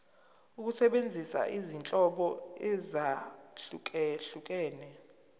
ukusebenzisa izinhlobo ezahlukehlukene